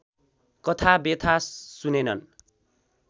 कथा व्यथा सुनेनन्